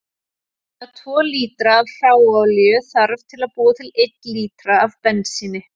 Rúmlega tvo lítra af hráolíu þarf til að búa til einn lítra af bensíni.